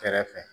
Kɛrɛfɛ